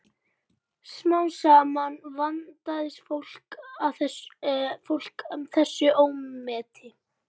Smám saman vandist fólk þessu ómeti.